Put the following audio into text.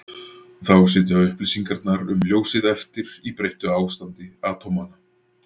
Þá sitja upplýsingarnar um ljósið eftir í breyttu ástandi atómanna.